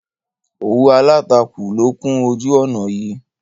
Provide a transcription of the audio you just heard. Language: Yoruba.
Òwú Aláàtakù ló kún ojú ọ̀ná yìí.